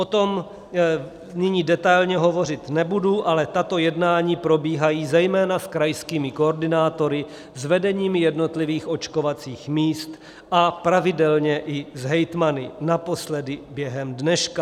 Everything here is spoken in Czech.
O tom nyní detailně hovořit nebudu, ale tato jednání probíhají zejména s krajskými koordinátory, s vedeními jednotlivých očkovacích míst a pravidelně i s hejtmany, naposledy během dneška.